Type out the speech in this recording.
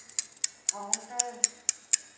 Havndal